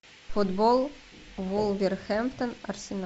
футбол вулверхэмптон арсенал